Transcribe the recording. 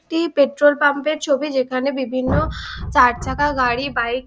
টি petrol pump এর ছবি। যেখানে বিভিন্ন চার চাকা গাড়ি বাইক --